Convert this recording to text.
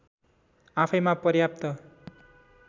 आफैँमा पर्याप्त